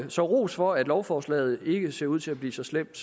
så ros for at lovforslaget ikke ser ud til at blive så slemt